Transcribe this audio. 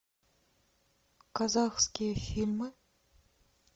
казахские фильмы